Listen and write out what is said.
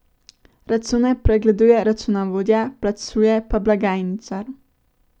Račune pregleduje računovodja, plačuje pa blagajničar ...